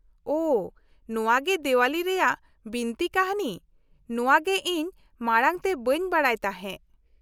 -ᱳᱦᱚ, ᱱᱚᱶᱟᱜᱮ ᱫᱮᱣᱟᱞᱤ ᱨᱮᱭᱟᱜ ᱵᱤᱱᱛᱤ ᱠᱟᱹᱱᱦᱤ ᱾ ᱱᱚᱶᱟ ᱜᱮ ᱤᱧ ᱢᱟᱲᱟᱝ ᱛᱮ ᱵᱟᱹᱧ ᱵᱟᱰᱟᱭ ᱛᱟᱦᱮᱸ ᱾